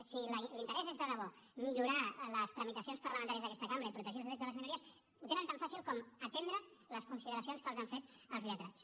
si l’interès és de debò millorar les tramitacions parlamentàries d’aquesta cambra i protegir els drets de les minories ho tenen tan fàcil com atendre les consideracions que els han fet els lletrats